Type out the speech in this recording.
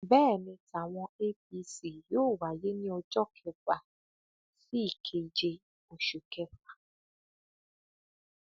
bẹẹ ni tàwọn apc yóò wáyé ní ọjọ kẹfà sí ìkeje oṣù kẹfà